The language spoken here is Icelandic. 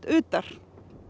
utar